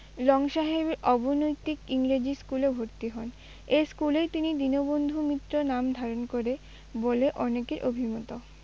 Long সাহেবের অবৈতনিক ইংরেজি school -এ ভর্তি হন, এই school -এই তিনি দীনবন্ধু মিত্র নাম ধারণ করেন বলে অনেকের অভিমত।